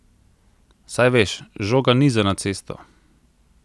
Saj veš, žoga ni za na cesto!